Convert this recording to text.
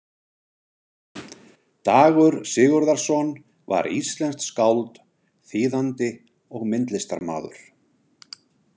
Dagur Sigurðarson var íslenskt skáld, þýðandi og myndlistarmaður.